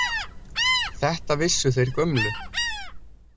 Þetta vissu þeir gömlu.